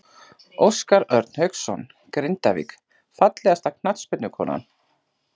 Óskar Örn Hauksson, Grindavík Fallegasta knattspyrnukonan?